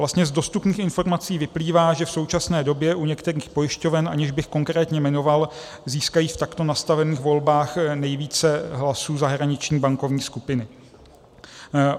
Vlastně z dostupných informací vyplývá, že v současné době u některých pojišťoven, aniž bych konkrétně jmenoval, získají v takto nastavených volbách nejvíce hlasů zahraniční bankovní skupiny.